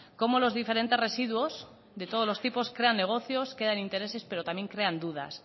como los diferentes residuos de todos los tipos crean negocios crean intereses pero también crean dudas